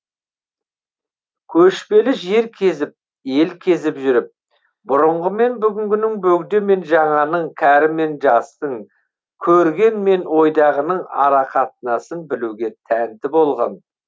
көшпелі жер кезіп ел кезіп жүріп бұрынғымен бүгінгінің бөгде мен жаңаның кәрімен жастың көргенмен ойдағының арақатынасын білуге тәнті болған